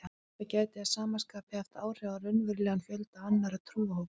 Þetta gæti að sama skapi haft áhrif á raunverulegan fjölda annarra trúarhópa.